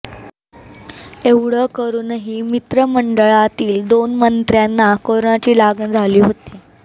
एवढं करूनही मंत्रिमंडळातील दोन मंत्र्यांना कोरोनाची लागण झाली होती